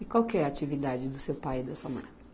E qual que é a atividade do seu pai e da sua mãe?